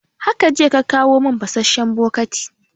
Haka jiya ka kawo mun fasasshen bokati